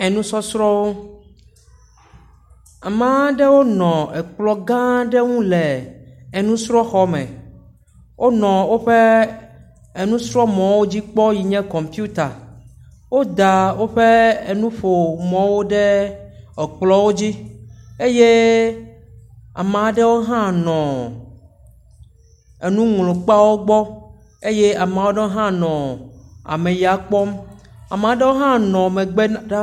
Enusɔsrɔ̃wo, ame aɖewo nɔ ekplɔ̃ gãa aɖe ŋu le enusrɔ̃xɔme. Wonɔ woƒe enusrɔ̃mɔwo dzi kpɔm yi nye kɔmpiuta. Woda woƒe enuƒomɔwo ɖe ekplɔ̃wo dzi eye ame aɖewo hã nɔ enuŋlɔkpeawo gbɔ. Eye ame aɖewo hã nɔ ameya kpɔm. ame aɖewo hã nɔ megbea ɖaa.